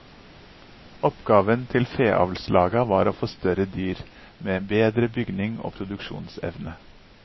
Oppgaven til feavlslaga var å få større dyr, med bedre bygning og produksjonsevne.